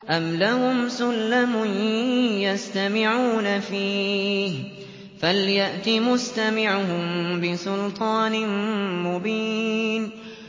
أَمْ لَهُمْ سُلَّمٌ يَسْتَمِعُونَ فِيهِ ۖ فَلْيَأْتِ مُسْتَمِعُهُم بِسُلْطَانٍ مُّبِينٍ